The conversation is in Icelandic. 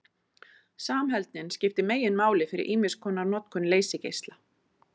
Samheldnin skiptir meginmáli fyrir ýmiskonar notkun leysigeisla.